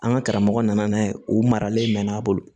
An ka karamɔgɔ nana n'a ye o maralen mɛ n'a bolo